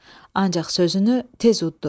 Ancaq sözünü tez udddu.